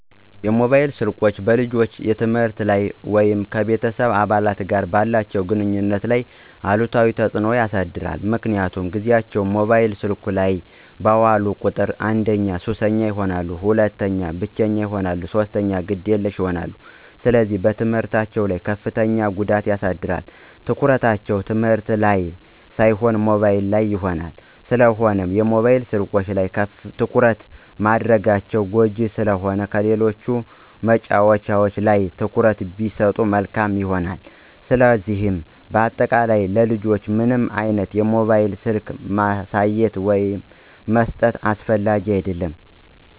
ሞባይል ስልኮች በልጆች የትምህርት ላይ ወይም ከቤተሰብ አባላት ጋር ባላቸው ግንኙነት ላይ አሉታዊ ተጽዕኖ ያሳድራል ምክንያቱም ጊዚያቸውን ሞባይል ስልኮች ላይ ባዋሉ ቁጥር አንደኛ ሱሰኛ ይሆናሉ፣ ሁለተኛ ብቸኛ ይሆናሉ፣ ሶስተኛ ግዴለሽ ይሆናሉ፣ ስለዚህ በትምህርታቸው ላይ ከፍተኛ ጉዳት ያሳድራል፣ ትኩረታቸው ትምህርት ላን ሳይሆን ሞባይሉ ላይ ይሆናል። ስለሆነም የሞባይል ስልኮች ላይ ትኩረት ማድረጋቸው ጎጅ ስለሆነ ከሌሎች መጫዎቻዎች ላይ ትኩረት ቢሰጡ መልካም ይሆናል። ስለዚህ በአጠቃላይ ለልጆች ምንም አይነት ሞባይል ስልኮችን ማሳየትም መስጠትም አስፈላጊ አደለም።